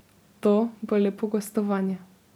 To bo lepo gostovanje.